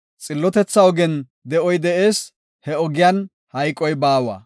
Xillotethaa ogen de7oy de7ees; he ogen hayqoy baawa.